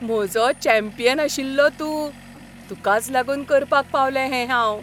म्हजो चॅम्पियन आशिल्लो तूं! तुकाच लागून करपाक पावलें हें हांव.